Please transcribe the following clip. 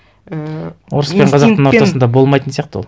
ііі орыс пен қазақтың ортасында болмайтын сияқты ол